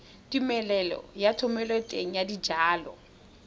tumelelo ya thomeloteng ya dijalo